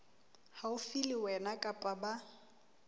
haufi le wena kapa ba